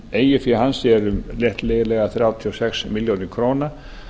eigið fé hans er um rétt liðlega þrjátíu og sex milljónir króna